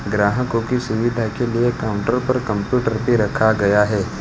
ग्राहकों की सुविधा के लिए काउंटर पर कंप्यूटर भी रखा गया है।